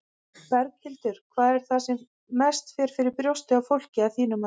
Berghildur: Hvað er það sem mest fer fyrir brjóstið á fólki, að þínu mati?